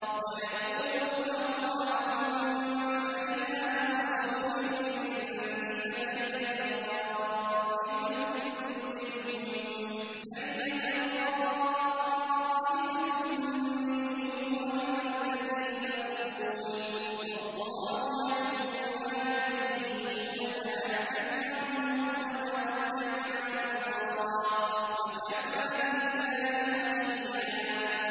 وَيَقُولُونَ طَاعَةٌ فَإِذَا بَرَزُوا مِنْ عِندِكَ بَيَّتَ طَائِفَةٌ مِّنْهُمْ غَيْرَ الَّذِي تَقُولُ ۖ وَاللَّهُ يَكْتُبُ مَا يُبَيِّتُونَ ۖ فَأَعْرِضْ عَنْهُمْ وَتَوَكَّلْ عَلَى اللَّهِ ۚ وَكَفَىٰ بِاللَّهِ وَكِيلًا